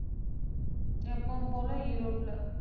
எப்பவும் போல ஈரோட்டுல,